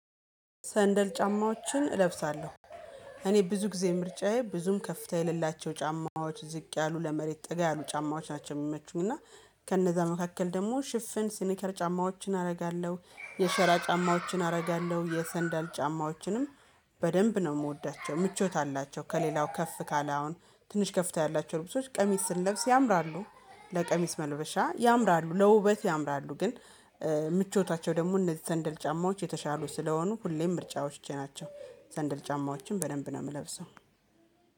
ሰንደል ጫማዎችን እለብሳለሁ። እኔ ብዙ ጊዜ ምርጫዬ ብዙም ከፍታ የሌላቸው ጫማዎች ዝቅ ያሉ ለመሬት ጠጋ ያሉ ጫማዎች ናቸው የሚመቹኝ። እና ከነዛ መካከል ደግሞ ሽፍን ስኒከር ጫማዎችን አደርጋለሁ የሸራ ጫማዎችን አደርጋለሁ የሰንዳል ጫማዎችንም በደንብ ነው የምወዳቸው። ምቾት አላቸው ከሌላው ከፍ ካለ አሁን ትንሽ ከፍታ ያላቸው ልብሶች ቀሚስ ስንለብስ ያምራሉ። ለቀሚስ መነበሻ ያምራሉ ለውበት ያምራሉ ግን ምቾታቸው ደግሞ እነዚህ ዘንድል ጫማዎች የተሻሉ ስለሆኑ ሁሌም ምርጫዎቼ ናቸው። ሰንደል ጫማዎችን በደንብ ነው የምለብሰው